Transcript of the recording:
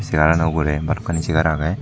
segar aano ugure balokkani segar agey.